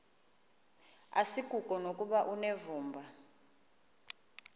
asikuko nokuba unevumba